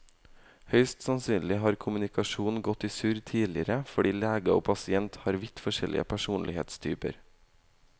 Høyst sannsynlig har kommunikasjonen gått i surr tidligere fordi lege og pasient har vidt forskjellig personlighetstyper.